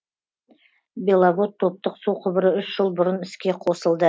беловод топтық су құбыры үш жыл бұрын іске қосылды